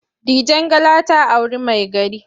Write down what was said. Dijangala ta auri maigari.